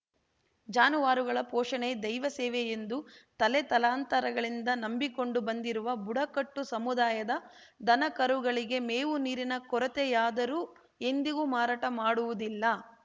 ಜಾನುವಾರುಗಳ ಪೋಷಣೆ ದೈವಸೇವೆ ಎಂದು ತಲೆತಲಾಂತರಗಳಿಂದ ನಂಬಿಕೊಂಡು ಬಂದಿರುವ ಬುಡಕಟ್ಟು ಸಮುದಾಯದ ದನಕರುಗಳಿಗೆ ಮೇವು ನೀರಿನ ಕೊರತೆಯಾದರೂ ಎಂದಿಗೂ ಮಾರಾಟ ಮಾಡುವುದಿಲ್ಲ